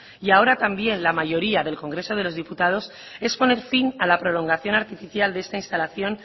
y ahora también la mayoría del congreso de los diputados es poner fin a la prolongación artificial de esta instalación